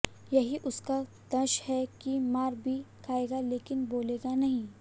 यही उसका दंश है कि मार भी खाएगा लेकिन बोलेगा नहीं